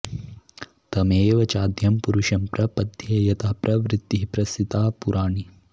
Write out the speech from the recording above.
तमेव चाद्यं पुरुषं प्रपद्ये यतः प्रवृत्तिः प्रसृता पुराणी